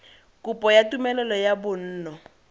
kopo ya tumelelo ya bonno